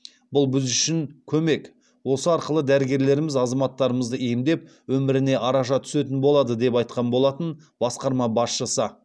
бұл біз үшін көмек осы арқылы дәрігерлеріміз азаматтарымызды емдеп өміріне араша түсетін болады деп айтқан болатын басқарма басшысы